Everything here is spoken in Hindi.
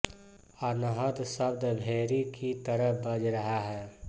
अनहद शब्द भेरी की तरह बज रहा है